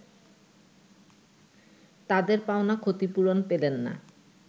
তাদের পাওনা ক্ষতিপূরণ পেলেন না